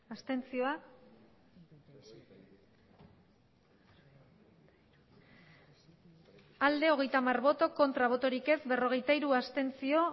abstentzioa hogeita hamar bai berrogeita hiru abstentzio